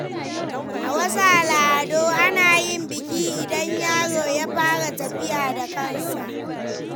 A wasu al’adu, ana yin biki idan yaro ya fara tafiya da kansa.